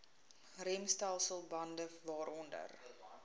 remstelsel bande waaronder